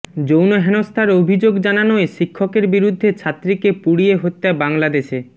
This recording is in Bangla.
যৌন হেনস্থার অভিযোগ জানানোয় শিক্ষকের বিরুদ্ধে ছাত্রীকে পুড়িয়ে হত্যা বাংলাদেশে